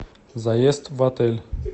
заезд в отель